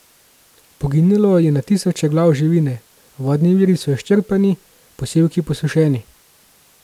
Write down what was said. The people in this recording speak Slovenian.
Poginilo je na tisoče glav živine, vodni viri so izčrpani, posevki posušeni.